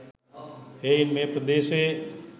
එහෙයින් මේ ප්‍රදේශයේ